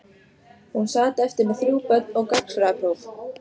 Hún sat eftir með þrjú börn og gagnfræðapróf.